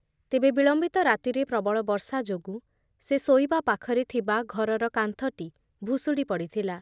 ତେବେ ବିଳମ୍ବିତ ରାତିରେ ପ୍ରବଳ ବର୍ଷା ଯୋଗୁଁ ସେ ଶୋଇବା ପାଖରେ ଥିବା ଘରର କାନ୍ଥଟି ଭୁଶୁଡ଼ି ପଡ଼ିଥିଲା ।